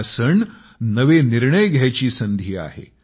हा सण नवे निर्णय घ्यायची संधी आहे